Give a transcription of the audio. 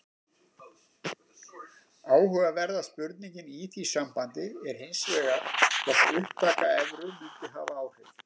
Áhugaverða spurningin í því sambandi er hins vegar hvort upptaka evru mundi hafa áhrif.